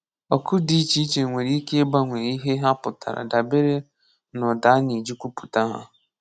Ọ̀kụ̀ dị iche iche nwere ike ịgbanwe ihe ha pụtara dabere n’ụ́da a na-eji kwupụta ha.